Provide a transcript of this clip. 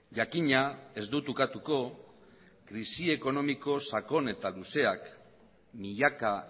jakina ez dut ukatuko krisi ekonomiko sakon eta luzeak milaka